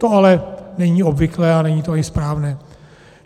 To ale není obvyklé a není to i správné.